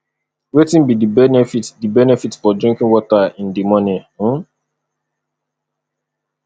wetin be di benefit di benefit for drinking water in di morning um